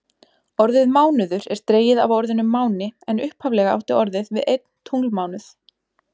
Orðið mánuður er dregið af orðinu máni en upphaflega átti orðið við einn tunglmánuð.